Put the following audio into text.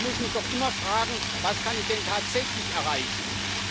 Ich muss mich doch immer fragen, was ich denn tatsächlich erreichen kann.